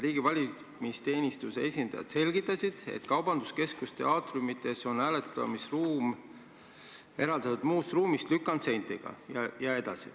Riigi valimisteenistuse esindajad selgitasid, et kaubanduskeskuste aatriumites on hääletamisruum eraldatud muust ruumist lükandseintega jne.